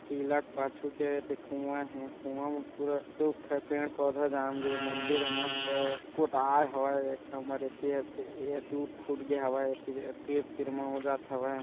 कीला क पाछु के ऐ दे कुवा हे कुवा म पूरा सोख पेड़ पौधा जाम गे हे मंदिर ह मस्त पोताएँ हवय एक ठा हमर एति त ऐ हा टूट फुट गे हवय तीर - तीर मा ओजत हवय।